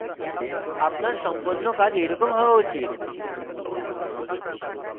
আপনার সম্পন্ন কাজ এইরকম হওয়া উচিত